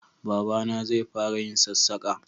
Baba na zai fara yin sassaka